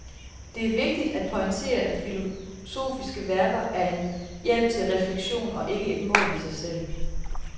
Det er vigtigt at pointere, at filosofiske værker er en hjælp til refleksion og ikke et mål i sig selv.